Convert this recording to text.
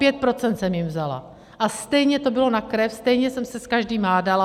Pět procent jsem jim vzala, a stejně to bylo na krev, stejně jsem se s každým hádala.